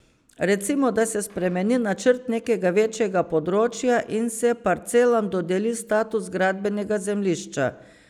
Recimo, da se spremeni načrt nekega večjega področja in se parcelam dodeli status gradbenega zemljišča.